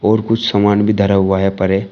और कुछ समान भी धरा हुआ है परे--